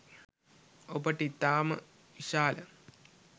ඔබට ඉතාම විශාල